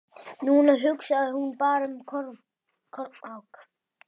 Núna hugsaði hún bara um Kormák.